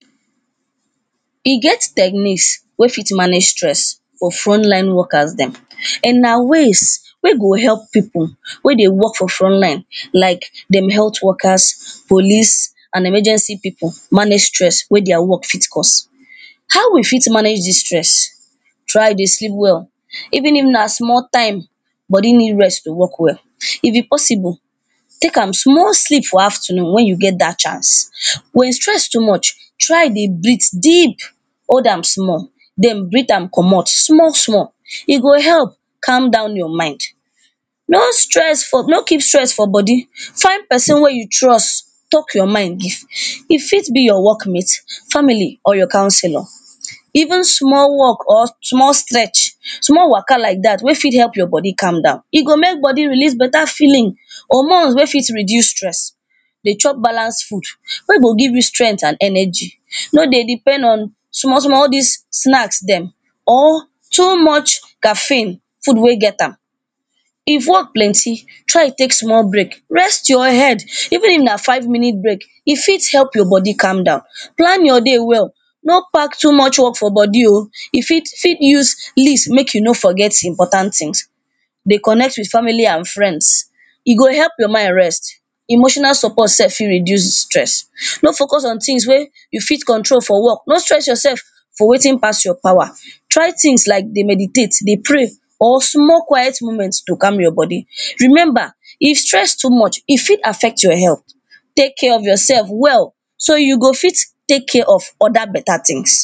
E get techniques wey fit manage stress for frontline workers dem, and na ways wey go help people wen dey work for frontline like dem health workers, police and emergency people manage stress wey their work fit cause. How we fit manage dis stress? Try dey sleep well, even if na small time, body need rest to work well. If e possible, take am small sleep for afternoon wen you get dat chance. Wen stress too much, try dey breathe deep, hold am small, den breathe komot small small. E go help calm down your mind. No stress for, no keep stress for body, find person wey you trust talk your mind give. E fit be your work mate, family or your counsellor. Even small walk or small stretch, small waka like dat wey fit make your body calm down. E go make body release better feeling, hormone wey fit reduce stress, dey chop balance food wey go give you strength and energy, no dey depend on, small small, all dis snack dem. Or too much caffeine, food wey get am. If work plenty, try take small break, rest your head, even if na five minute break, e fit help your body calm down. Plan your day well, no pack too much work for body oh, you fit you fit use list make you no forget important things, dey connect with family and friends, e go help your mind rest. Emotional support sef fit reduce stress, no focus on things wey you fit control for work no stress your sef for wetin pass your power. Try things like dey meditate, dey pray or small quiet moment to calm your body. Remember if stress too much e fit affect your health, take care of yourself well, so dat you go fit take care of oda better things.